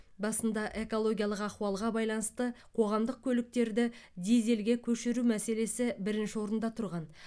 басында экологиялық ахуалға байланысты қоғамдық көліктерді дизельге көшіру мәселесі бірінші орында тұрған